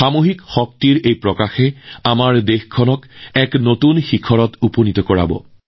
সামূহিকতাৰ এই শক্তিয়ে আমাৰ দেশক সফলতাৰ নতুন উচ্চতালৈ লৈ যাব